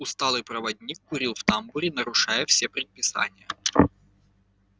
усталый проводник курил в тамбуре нарушая все предписания